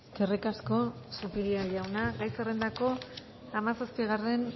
eskerrik asko zupiria jauna gai zerrendako hamazazpigarren